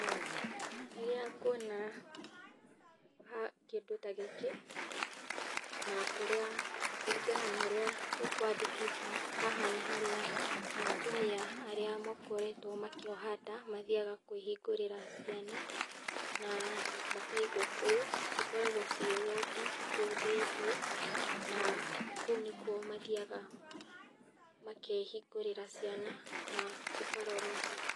Rĩrĩa nguona kĩndũ ta gĩkĩ na kũrĩa kũringana na ũrĩa kwandĩkĩtwo , haha nĩ harĩa atumia arĩa makoretwo makĩoha nda, mathiaga kwĩhingũrĩra ciana na makaigwo kũu, cikoragwo ciĩ wodi kũu thĩiniĩ na kũu nĩkuo mathiaga makehingũrĩra ciana na cikarorwo.